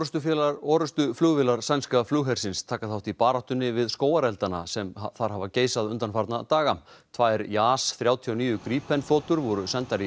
orrustuflugvélar sænska flughersins taka þátt í baráttunni við skógareldana sem þar hafa geisað undanfarna daga tvær þrjátíu og níu þotur voru sendar í